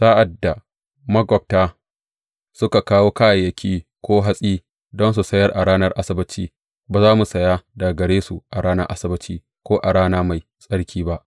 Sa’ad da maƙwabta suka kawo kayayyaki ko hatsi don su sayar a ranar Asabbaci, ba za mu saya daga gare su a ranar Asabbaci ko a rana mai tsarki ba.